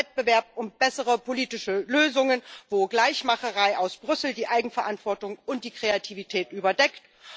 Über Wettbewerb um bessere politische Lösungen, wo Gleichmacherei aus Brüssel die Eigenverantwortung und die Kreativität überdeckt.